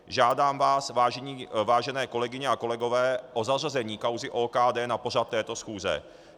Žádám vás, vážené kolegyně a kolegové, o zařazení kauzy OKD na pořad této schůze.